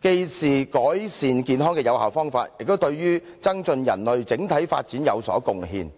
既是改善健康的有效方法，亦對於增進人類整體發展有所貢獻。